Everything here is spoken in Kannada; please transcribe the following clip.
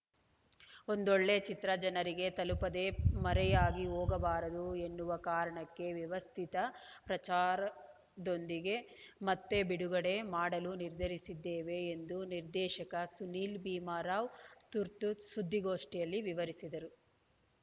ಒಂದೊಳ್ಳೆ ಚಿತ್ರ ಜನರಿಗೆ ತಲುಪದೆ ಮರೆಯಾಗಿ ಹೋಗಬಾರದು ಎನ್ನುವ ಕಾರಣಕ್ಕೆ ವ್ಯವಸ್ಥಿತ ಪ್ರಚಾರದೊಂದಿಗೆ ಮತ್ತೆ ಬಿಡುಗಡೆ ಮಾಡಲು ನಿರ್ಧರಿಸಿದ್ದೇವೆ ಎಂದು ನಿರ್ದೇಶಕ ಸುನೀಲ್‌ ಭೀಮರಾವ್‌ ತುರ್ತು ಸುದ್ದಿಗೋಷ್ಠಿಯಲ್ಲಿ ವಿವರಿಸಿದರು